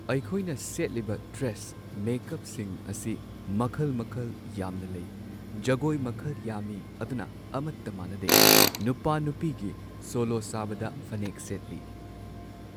ꯑꯩꯈꯣꯏꯅ ꯁꯦꯠꯂꯤꯕ ꯗ꯭ꯔꯦꯁ ꯃꯦꯀꯞꯁꯤꯡ ꯑꯁꯤ ꯃꯈꯜ ꯃꯈꯜ ꯌꯥꯝꯅ ꯂꯩ꯫ ꯖꯒꯣꯏ ꯃꯈꯜ ꯌꯥꯝꯃꯤ ꯑꯗꯨꯅ ꯑꯃꯠꯇ ꯃꯥꯟꯅꯗꯦ ꯅꯨꯄꯥ ꯅꯨꯄꯤꯒꯤ ꯁꯣꯂꯣ ꯁꯥꯕꯗ ꯐꯅꯦꯛ ꯁꯦꯠꯂꯤ꯫